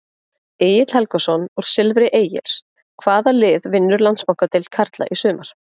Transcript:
Egill Helgason úr Silfri Egils Hvaða lið vinnur Landsbankadeild karla í sumar?